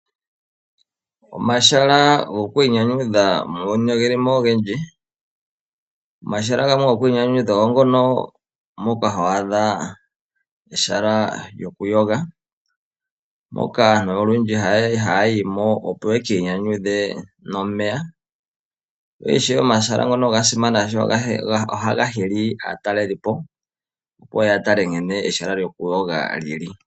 Omahala gokwiinyanyudha muuyuni oge li mo ogendji. Omahala gamwe gokwiinyanyudha ogo ngono moka ho adha ehala lyokumbwinda, moka aantu olundji ha ya yi mo opo ye ki inyanyudhe nomeya. Ishewe omahala ngono oga simana oshoka ohaga hili aatalelipo, opo ye ye ya tale nkene ehala lyokumbwinda lyi li.